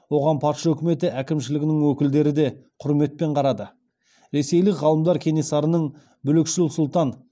оған патша үкіметі әкімшілігінің өкілдері де құрметпен қарады ресейлік ғалымдар кенесарының бүлікшіл сұлтан